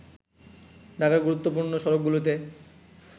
ঢাকার গুরুত্বপূর্ণ সড়কগুলোতে